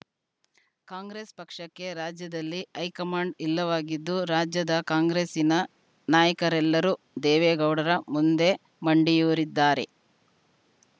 ಕಾಂಗ್ರೆಸ್‌ ಪಕ್ಷಕ್ಕೆ ರಾಜ್ಯದಲ್ಲಿ ಹೈಕಮಾಂಡ್‌ ಇಲ್ಲವಾಗಿದ್ದು ರಾಜ್ಯದ ಕಾಂಗ್ರೆಸ್ಸಿನ ನಾಯಕರೆಲ್ಲರೂ ದೇವೇಗೌಡರ ಮುಂದೆ ಮಂಡಿಯೂರಿದ್ದಾರೆ